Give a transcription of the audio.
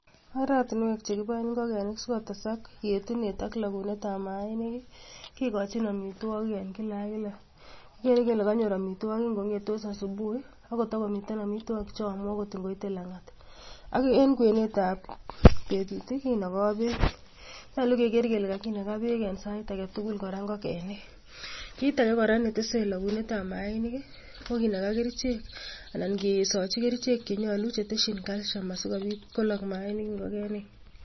Oratinwek chekiboen ingogenik sikotesak en yetunet ak logunetab mainik kikochin amitwoogiik en kila ak kila. Kigeere kele kenyooor amitwogik ingongetoos asubuhi ako to komiten amitwoogik chemiten akoi koit langat, ak en kwenetab betut kinoogoo beek, nyolu kegeer kele kakinagaa beek en Sait agetugul kora ingogogenik. Kitage kora netese logonetab mainik ko kinagaa kerichek anan kisoochi kerichek che nyolu chetesyiin calcium sikobiit koloog mainik ingogenik